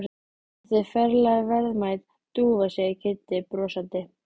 Þetta er ferlega verðmæt dúfa segir Kiddi brosandi.